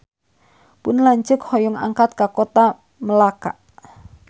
Pun lanceuk hoyong angkat ka Kota Melaka